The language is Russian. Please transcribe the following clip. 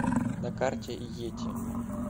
на карте йети